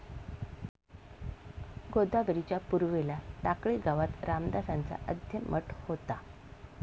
गोदावरीच्या पूर्वेला टाकळी गावात रामदासांचा आद्य मठ होता.